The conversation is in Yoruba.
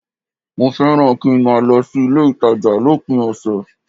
Mo fẹ́ràn kí n máa lọ sí ilé-ìtàjà lópin ọ̀sẹ̀